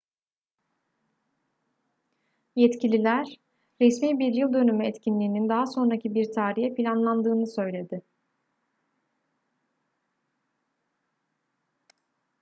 yetkililer resmi bir yıl dönümü etkinliğinin daha sonraki bir tarihe planlandığını söyledi